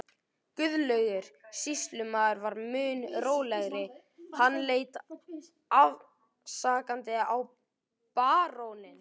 Guðlaugur sýslumaður var mun rólegri, hann leit afsakandi á baróninn.